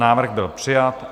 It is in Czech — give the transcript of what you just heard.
Návrh byl přijat.